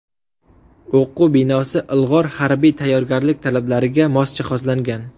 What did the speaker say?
O‘quv binosi ilg‘or harbiy tayyorgarlik talablariga mos jihozlangan.